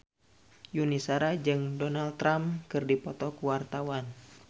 Yuni Shara jeung Donald Trump keur dipoto ku wartawan